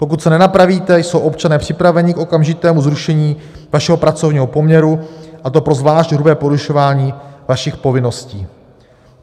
Pokud se nenapravíte, jsou občané připraveni k okamžitému zrušení vašeho pracovního poměru, a to pro zvlášť hrubé porušování vašich povinností.